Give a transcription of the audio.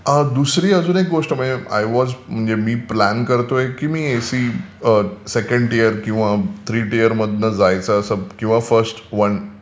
दुसरी अजून एक गोष्ट म्हणजे आय वाज म्हणजे मी प्लान करतोय की एसी सेकंड टियर किंवा थ्री टियर मधून जायचं किंवा फर्स्ट वन